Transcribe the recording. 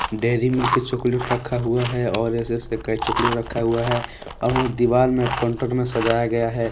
Dairy Milk chocolate रखा हुआ है और ऐसे ऐसे कई चॉकलेट रखा हुआ है और दीवार में कोंटर मे सजाया गया है।